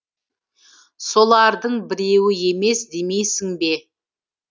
солардың біреуі емес демейсің бе